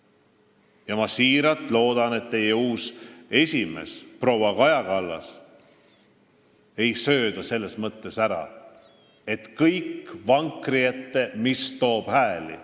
Ma loodan siiralt, et teie uut esimeest proua Kaja Kallast ei "sööda" selles mõttes ära, et kõik tuleb panna vankri ette, mis toob hääli.